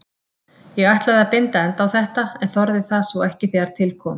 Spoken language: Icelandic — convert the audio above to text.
Ég ætlaði að binda enda á þetta en þorði það svo ekki þegar til kom.